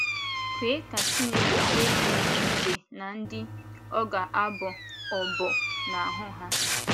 Kwee ka Chineke kpebie mgbe na ndị ọ ga - abọ ọ́bọ̀ n’ahụ́ ha.